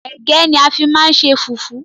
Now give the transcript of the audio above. Égẹ́ ni a fi máa ń ṣe fùfú